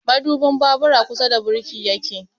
Madubin babur a kusa da birki yake